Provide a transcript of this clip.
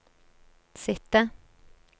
sitte